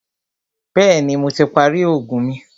Bẹ̀ẹ́ni, Mo ti parí oògùn mi.